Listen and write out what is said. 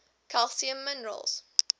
calcium minerals